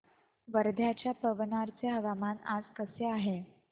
वर्ध्याच्या पवनार चे हवामान आज कसे आहे